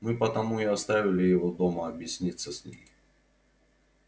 мы потому и оставили его дома объясниться с ней